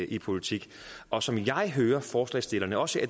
i politik og som jeg hører forslagsstillerne også